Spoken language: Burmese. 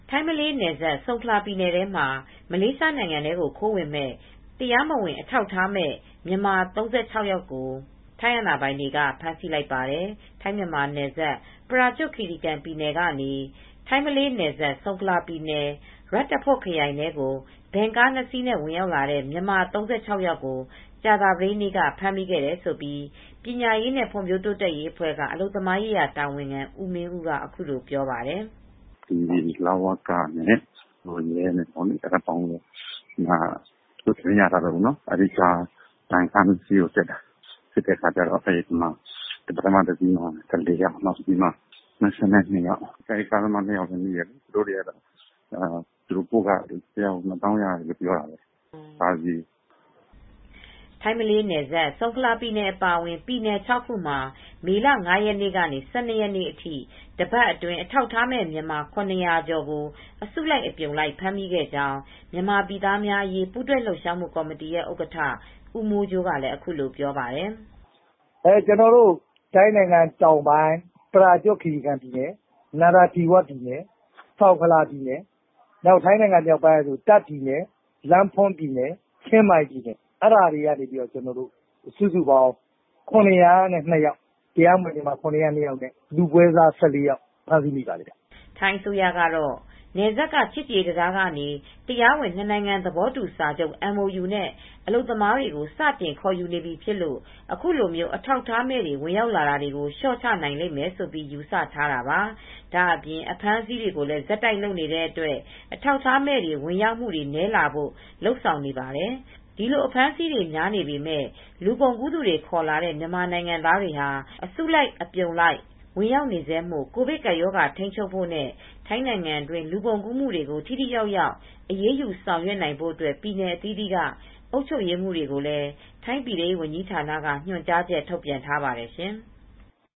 ထိုင်း ၊ မလေးနယ်စပ် ဆုံခလာပြည်နယ်ထဲမှာ မလေးရှားနိုင်ငံထဲကို ခိုးဝင်မယ့် တရားမဝင်အထောက်အထားမဲ့ မြန်မာ ၃၆ယောက်ကို ထိုင်းအာဏာပိုင်တွေကဖမ်းဆီးလိုက်ပါတယ်။ ထိုင်းမြန်မာနယ်စပ် ပရာကျွတ်ခီရီကန်ပြည်နယ်ကနေ ထိုင်းမလေးနယ်စပ် ဆုံခလာပြည်နယ် ရတ်တဖွတ်ခရိုင်ထဲကို ဗင်ကား၂စီးနဲ့ဝင်ရောက်လာတဲ့ မြန်မာ၃၆ယောက်ကို ကြာသပတေးနေ့ကဖမ်းမိခဲ့တယ်လို့ ပညာရေးနဲ့ ဖွံ့ဖြိုးတိုးတက်ရေးအဖွဲ့ က အလုပ်သမားရေး တာဝန်ခံဦးမင်းဦးကအခုလိုပြောပါတယ်။ "လဝကနဲ့ ရဲနဲ့ပေါင်းပြီး သတင်းရထားလို့ ဗင်ကား၂စီးကိုစစ်တာ စစ်တဲ့အခါ ပထမကားတစီးမှာ ၁၄ယောက် နောက်ကားတစီးမှာတော့ ၂၂ယောက်မိတယ် ။ ကားသမား နှစ်ယောက်ကိုလည်း မိတယ်။ ကားတစီးကို သူတို့ပို့ခ ဘတ်ငွေ ၂သောင်းရတယ်လို့ပြောတယ်။ ကားတစီးကို" ထိုင်း မလေးနယ်စပ်၊ ဆုံခလာပြည်နယ် အပါအဝင် ပြည်နယ်၆ခုမှာ မေလ၅ ရက်နေ့က ၁၂ရက်နေ့အထိ တပတ်အတွင်း အထောက်အထားမဲ့ မြန်မာ ၇၀၀ကျော်ကို အစုလိုက် အပြုံလိုက် ဖမ်းမိကြောင်း မြန်မာပြည်သားများအရေးပူးတွဲလှုပ်ရှားမူ့ကော်မတီရဲ့ ဥက္ကဌ ဦးမိုးကြိုးကလည်းအခုလိုပြောပါတယ်။ "ထိုင်းနိုင်ငံ တောင်ပိုင်း ၊ ပရာကျွတ်ခီရီကန်ပြည်နယ်၊ နာရာသီဝပြည်နယ်၊ ဆုံခလာပြည်နယ် ၊ ထိုင်းနိုင်ငံမြောက်ပိုင်း တာ့ခ်ပြည်နယ်၊ လမ်းပွန်းပြည်နယ်၊ ချင်းမိုင်ပြည်နယ်၊ အဲဒီပြည်နယ်တွေက တရားမဝင်မြန်မာ ၇၀၂ယောက်လူပွဲစား ၁၄ယောက်ဖမ်းမိခဲ့ပါတယ်" ထိုင်အစိုးကတော့ နယ်စပ်က ချစ်ကြည်ရေးတံတားကနေ တရားဝင် နှစ်နိုင်ငံသဘောတူစာချုပ် MOU နဲ့ အလုပ်သမားတွေကို စတင်ခေါ်ယူနေပြီဖြစ်လို့ အခုလို အထောက်အထားမဲ့တွေ ဝင်ရောက်လာတာတွေလျော့ချနိုင်မယ်လို့ယူဆထားတာပါ ။ ဒါအပြင် အဖမ်းအဆီးတွေကိုလည်း ဆက်တိုက်လုပ်နေတဲ့ အတွက် အထောက်အထားမဲ့တွေ ဝင်ရောက်မူတွေ နည်းလာဖို့လုပ်ဆောင်နေပါတယ်။ ဒီလို အဖမ်းအဆီးတွေများနေပေမယ့်။ လူကုန်ကူးသူတွေခေါ်လာတဲ့ မြန်မာနိုင်ငံသားတွေ အစုလိုက်အပြုံလိုက် ဝင်ရောက်နေဆဲမို့ ကိုဗစ်ကပ်ရောဂါကိုထိမ်းချုပ်ဖို့နဲ့ ထိုင်းနိုင်ငံတွင်း လူကုန်ကူးမူတွေကို ထိထိရောက်ရောက်အရေးယူဆောင်ရွက်နိုင်ဖို့ ပြည်နယ်အသီးသီးက အုပ်ချုပ်ရေးမှူးတွေကိုလည်း ထိုင်းပြည်ထဲရေးဝန်ကြီးဌာနက ညွန်ကြားချက် ထုတ်ပြန်ထားပါတယ်ရှင်။